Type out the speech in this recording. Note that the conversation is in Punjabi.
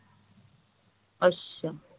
ਅੱਛਾ